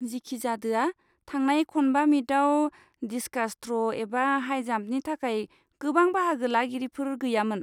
जिखिजादोआ, थांनाय खनबा मिटआव डिस्कास थ्र' एबा हाई जाम्पनि थाखाय गोबां बाहागो लागिरिफोर गैयामोन।